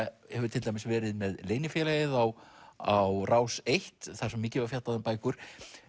hefur til dæmis verið með leynifélagið á á Rás eins þar sem mikið var fjallað um bækur